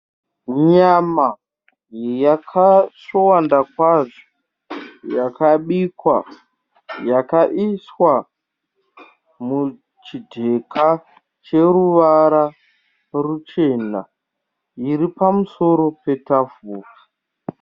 Nyama yakasvowanda kwazvo. Yakabikwa yakaiswa muchidheka cheruvara ruchena riripamusoro petafura.